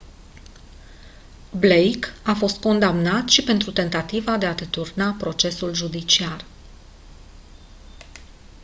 blake a fost condamnat și pentru tentativa de a deturna procesul judiciar